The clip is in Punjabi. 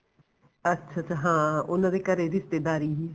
ਅੱਛਾ ਅੱਛਾ ਹਾਂ ਉਹਨਾ ਦੇ ਘਰੇ ਰਿਸ਼ਤੇਦਾਰੀ ਵੀ ਸੀ